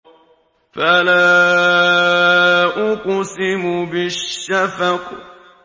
فَلَا أُقْسِمُ بِالشَّفَقِ